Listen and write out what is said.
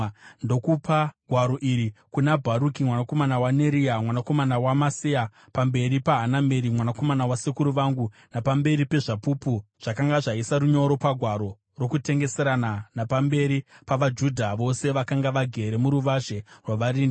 ndokupa gwaro iri kuna Bharuki mwanakomana waNeria, mwanakomana waMaseya, pamberi paHanameri mwanakomana wasekuru vangu napamberi pezvapupu zvakanga zvaisa runyoro pagwaro rokutengeserana, napamberi pavaJudha vose vakanga vagere muruvazhe rwavarindi.